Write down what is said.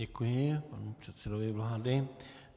Děkuji panu předsedovi vlády.